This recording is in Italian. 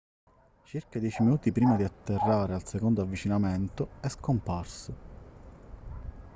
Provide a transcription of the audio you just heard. circa dieci minuti prima di atterrare al secondo avvicinamento è scomparso